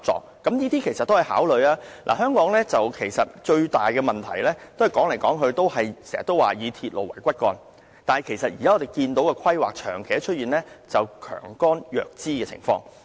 香港最大的問題，就是我們的公共交通政策說來說去都是以鐵路為骨幹，但現時的規劃長期出現強幹弱枝的情況。